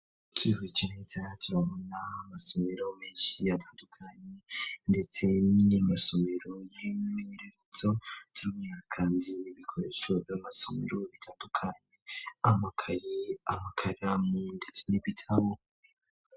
Ikihike neze hajiranamo na masomero menshi yatandukanyi ndetsen'masomero yemwe menererezo tuigumekanzi nibikoreshoo vy'masomero bitandukanyye amakayi amakara mu, ndetse n'ibitabo.